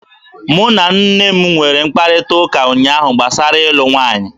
Mụ na nne m nwere mkparịtaụka ụnyaahụ gbasara ịlụ nwaanyị.